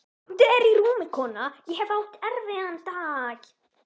Komdu þér í rúmið, kona, ég hef átt erfiðan dag.